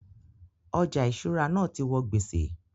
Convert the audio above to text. Ọjà ìṣúra náà ti wọ gbèsè